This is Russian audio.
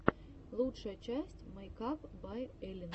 лучшая часть мэйкап бай эллин